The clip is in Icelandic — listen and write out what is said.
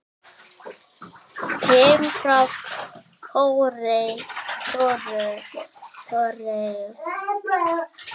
Kim frá Kóreu